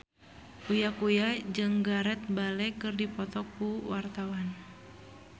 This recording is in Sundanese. Uya Kuya jeung Gareth Bale keur dipoto ku wartawan